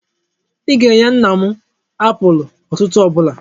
Ị ga-enye nna nna m apụl ụtụtụ ọ bụla!